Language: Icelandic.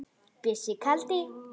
Bjössi kaldi.